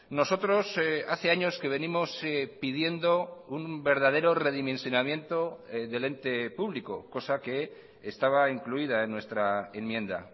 nosotros hace años que venimos pidiendo un verdadero redimensionamiento del ente público cosa que estaba incluida en nuestra enmienda